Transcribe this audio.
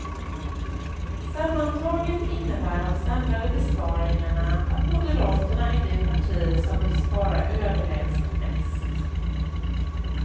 Sammantaget innebär de samlade besparingarna att moderaterna är det parti som vill spara överlägset mest.